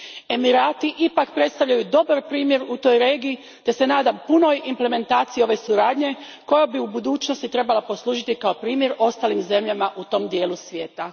Emirati ipak predstavljaju dobar primjer u toj regiji te se nadam punoj implementaciji ove suradnje koja bi u budućnosti trebala poslužiti kao primjer ostalim zemljama u tom dijelu svijeta.